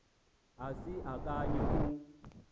asi okanye u